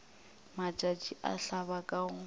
matšatši a hlaba ka go